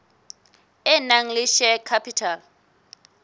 e nang le share capital